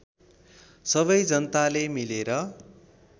सबै जनताले मिलेर